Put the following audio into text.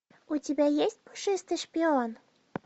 у тебя есть пушистый шпион